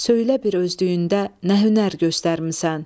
Söylə bir özlüyündə nə hünər göstərmisən.